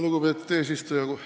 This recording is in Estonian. Lugupeetud eesistuja!